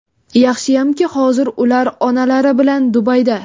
Yaxshiyamki, hozir ular onalari bilan Dubayda.